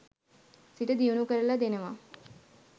සිත දියුණු කරල දෙනවා.